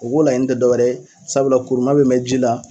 O k'o laɲini tɛ dɔwɛrɛ ye sabula kuruna bɛ mɛn ji la.